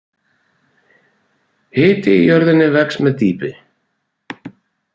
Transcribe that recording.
Hiti í jörðinni vex með dýpi.